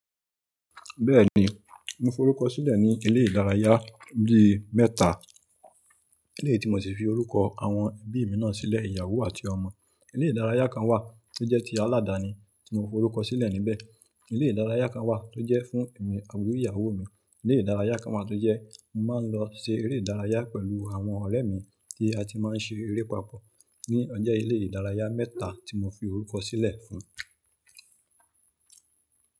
Bẹ́ẹ̀ni, mo forúkọ sílẹ̀ ní ilé ìdárayá bí i mẹ́ta. Eléti mo sì fi orúkọ àwọn ẹbí mi náà sílẹ̀, ìyàwó àti ọmọ. Ilé ìdárayá kan wà tó jẹ́ ti aladani tí mo forúkọ sílẹ̀ níbẹ̀. Ilé ìdárayá kan wà tó jẹ́ fún èmi awu ìyàwó mi. Ilé ìdárayá kan wà tó jẹ́ mo máa ń lọ ṣe eré ìdárayá pẹ̀lú àwọn ọ̀rẹ́ mi tí a ti máa ń ṣe eré papọ̀ ní ọjẹ́ ilé ìdárayá mẹ́ta tí mo fi orúkọ sílẹ̀ fún.